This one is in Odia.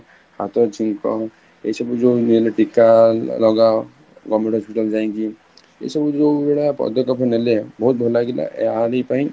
ହାତ ଛିଙ୍କ ଏଇ ସବୁ ଯୋଉ ଟୀକା ଲଗାଅ government hospital ଯାଇକି, ଏଇ ସବୁ ଯୋଉ ଭଳିଆ ପଦକ ନେଲେ ବହୁତ ଭଲ ଲାଗିଲା ଆହରି ପାଇଁ